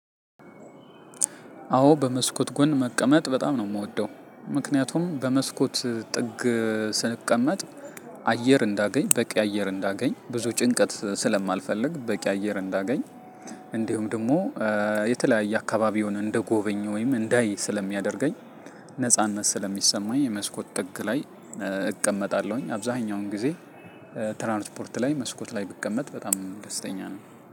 አዎ በመስኮት ጎን መቀመጥ በጣም ነው የምወደው። ምክንያቱም በመስኮት ጥግ ስቀመጥ አየር እንዳገኝ በቂ አየር እንዳገኝ ብዙ ጭንቀት ስለማልፈልግ በቂ አየር እንዳገኝ። እንዲሁም ደግሞ የተለያየ አካባቢውን እንድጎበኝ ወይም እንዳይ ስለሚያደርገኝ። ነጻነት ስለሚሰማኝ መስኮት ጥግ ላይ እቀመጣለሁኝ አብዛኛውን ጊዜ። ትራንስፖርት ላይ መስኮት ላይ ብቀመጥ በጣም ደስተኛ ነኝ።